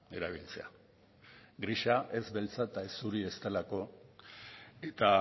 erabiltzea grisa ez beltza eta ez zuri ez delako eta